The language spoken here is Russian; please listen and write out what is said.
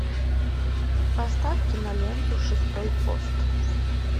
поставь киноленту шестой пост